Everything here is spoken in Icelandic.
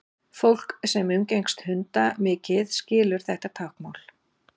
fólk sem umgengst hunda mikið skilur þetta táknmál